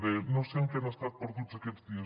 deia no sé en què han estat perduts aquests dies